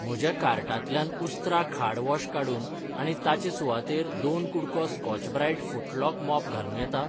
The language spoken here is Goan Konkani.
म्हज्या कार्टांतल्यान उस्त्रा खाड वॉश काडून आनी ताचे सुवातेर दोन कु़डको स्कॉच ब्राईट फुटलॉक मॉप घालूं येता?